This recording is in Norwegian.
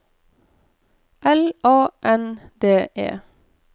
L A N D E